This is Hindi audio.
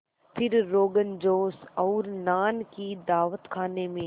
फिर रोग़नजोश और नान की दावत खाने में